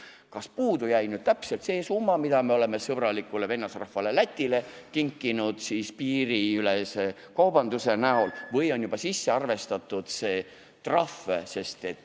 Kas puudu jäi täpselt see summa, mida me oleme sõbralikule vennasrahvale Lätile kinkinud piirikaubanduse tõttu või on see trahv juba sisse arvestatud?